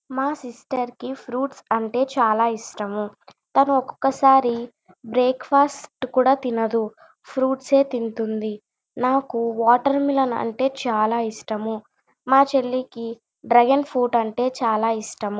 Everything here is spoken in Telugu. మా సిస్టర్ కి ఫ్రూప్ట్స్ అంటే చాల ఇష్టము తాను ఒక్కఓకసారి బ్రేక్ ఫాస్ట్ కూడా తినదు ఫ్రూప్ట్స్ ఏ తింటుంది నాకు వాటర్ మెలోన్ అంటే చాల ఇష్టము మా చెల్లికి డ్రాగన్ ఫ్రూట్ అంటే చాల ఇష్టము.